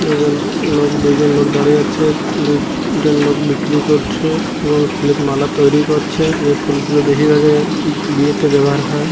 একজন লোক দুইজন লোক দাঁড়িয়ে আছে দুই তিনটে লোক বিক্রি করছে এবং প্লেট মালা তৈরি করছে এই ফুলগুলো বেশিরভাগই বিয়েতে ব্যবহার হয়।